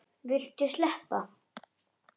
Viltu sleppa!